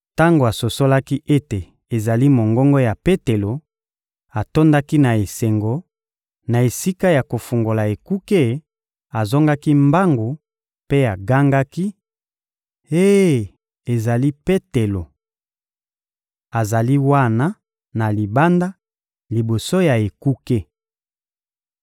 Tango asosolaki ete ezali mongongo ya Petelo, atondaki na esengo; na esika ya kofungola ekuke, azongaki mbangu mpe agangaki: — Eh, ezali Petelo! Azali wana, na libanda, liboso ya ekuke!